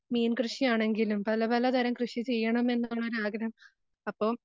മീൻ കൃഷിയാണെങ്കിലും പല പല തരം കൃഷി ചെയ്യണമെന്നുള്ള ഒരാഗ്രഹം അപ്പൊ